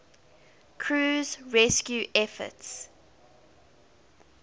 crew's rescue efforts